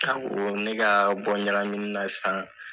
u ko ne ka ne bɔ ɲakamin na sisan!